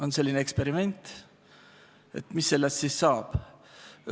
On selline eksperiment, et mis saab.